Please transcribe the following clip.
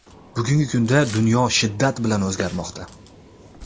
Bugungi kunda dunyo shiddat bilan o‘zgarmoqda.